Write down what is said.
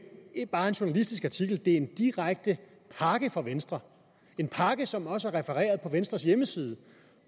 bare en journalistisk artikel det er en direkte pakke fra venstre en pakke som også er refereret på venstres hjemmeside